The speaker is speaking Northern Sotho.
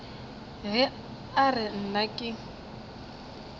ge a re nna ke